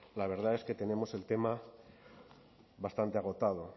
la verdad es que tenemos el tema bastante agotado